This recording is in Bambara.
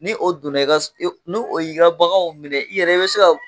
Ni o donna i ni o y'i ka baganw minɛ i yɛrɛ i bɛ se ka